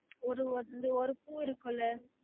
ஒரு வந்து ஒரு பூ இருக்குல